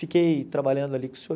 Fiquei trabalhando ali com o senhor.